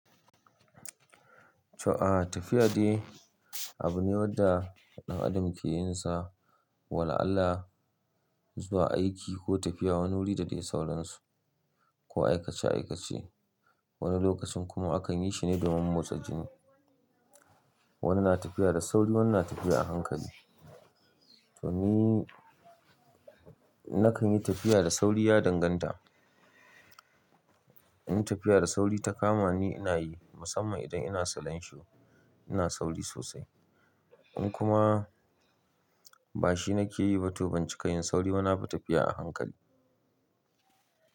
To aa, tafiya dai abu ne wanda ɗan adam ke yin sa wala'allah zuwa aiki ko tafiya wani wuri da dai sauransu ko aikace-aikace. Wani lokacin kuma akan yi shi ne domin motsa jini. Wani na tafiya da sauri, wani na tafiya a hankali. To ni nakan yi tafiya da sauri ya danganta. In tafiya da sauri ta kama ni, ina yi musamman idan ina salon shu, ina sauri sosai. In kuma ba shi nake yi ba, to banci ka yin sauri bana ba tafiya a hankali.